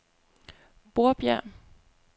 Borbjerg